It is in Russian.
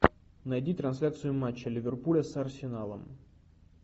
найди трансляцию матча ливерпуля с арсеналом